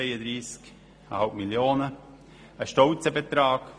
Das ist ein stolzer Betrag.